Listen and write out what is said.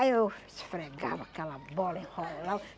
Aí eu esfregava aquela bola, enrolava.